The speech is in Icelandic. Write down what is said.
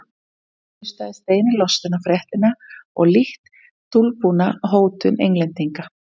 Stefán hlustaði steini lostinn á fréttina og lítt dulbúna hótun Englendinga.